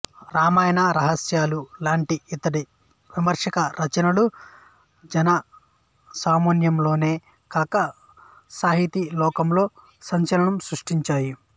రామాయణ రహస్యాలు లాంటి ఇతడి విమర్శక రచనలు జనసామాన్యంలోనే కాక సాహితీలోకంలో సంచలనం సృష్టించాయి